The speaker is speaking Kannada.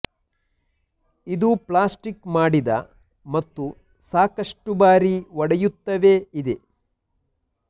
ಇದು ಪ್ಲಾಸ್ಟಿಕ್ ಮಾಡಿದ ಮತ್ತು ಸಾಕಷ್ಟು ಬಾರಿ ಒಡೆಯುತ್ತವೆ ಇದೆ